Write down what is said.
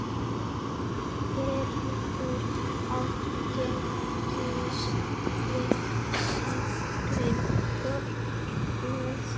Fyrir átti Gísli soninn Konráð.